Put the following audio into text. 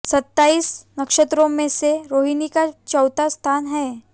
सत्ताईस नक्षत्रों में से रोहिणी का चौथा स्थान है